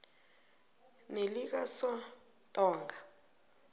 nelikasontonga